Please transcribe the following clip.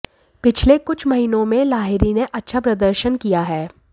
पिछले कुछ महीनों में लाहिरी ने अच्छा प्रदर्शन किया है